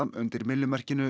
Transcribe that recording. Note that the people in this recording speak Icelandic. undir myllumerkinu